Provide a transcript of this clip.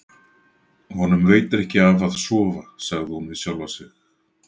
Honum veitir ekki af að sofa, sagði hún við sjálfa sig.